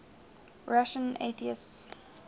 russian atheists